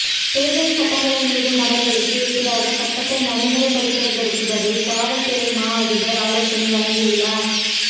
தேர்தல் சட்டங்களை மீறும் நபர்களுக்கு எதிராக சட்டத்தை நடைமுறைப்படுத்தற்கும் பதில் காவல்துறைமா அதிபர் ஆலோசனை வழங்கியுள்ளார்